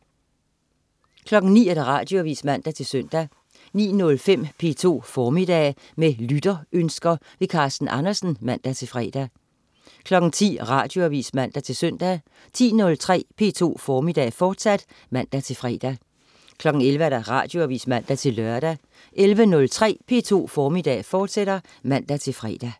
09.00 Radioavis (man-søn) 09.05 P2 Formiddag. Med lytterønsker. Carsten Andersen (man-fre) 10.00 Radioavis (man-søn) 10.03 P2 Formiddag, fortsat (man-fre) 11.00 Radioavis (man-lør) 11.03 P2 Formiddag, fortsat (man-fre)